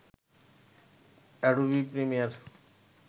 Adobe Premiere